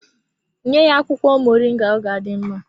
Nye ya akwụkwọ moringa ọ ga-adị mma.